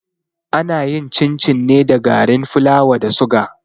Ana yin cin-cin ne da garin fulawa da suga.